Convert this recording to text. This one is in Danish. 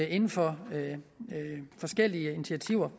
inden for forskellige initiativer